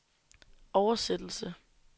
oversættelse